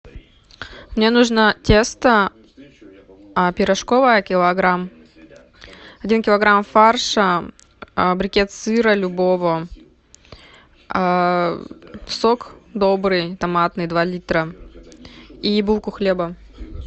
мне нужно тесто пирожковое килограмм один килограмм фарша брикет сыра любого сок добрый томатный два литра и булку хлеба